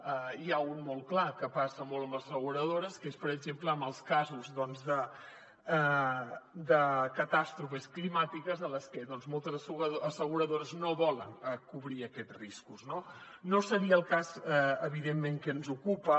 n’hi ha un de molt clar que passa molt amb les asseguradores que és per exemple en els casos de catàstrofes climàtiques en les que moltes asseguradores no volen cobrir aquests riscos no no seria el cas evidentment que ens ocupa